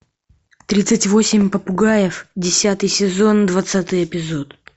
тридцать восемь попугаев десятый сезон двадцатый эпизод